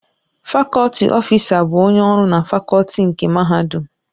Fakọlti ọfịsa bụ onye ọrụ na fakọlti nke Mahadum.